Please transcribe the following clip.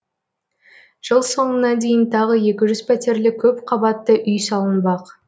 жыл соңына дейін тағы екі жүз пәтерлі көпқабатты үй салынбақ